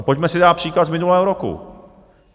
A pojďme si dát příklad z minulého roku.